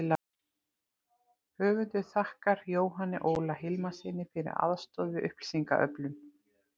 Höfundur þakkar Jóhanni Óla Hilmarssyni fyrir aðstoð við upplýsingaöflun.